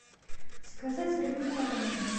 заказать рыбу соленую